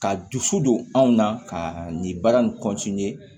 Ka dusu don anw na kaa nin baara nin